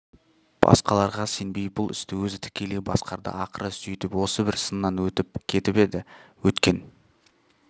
басқаларға сенбей бұл істі өзі тікелей басқарды ақыры сөйтіп осы бір сыннан өтіп кетіп еді өткен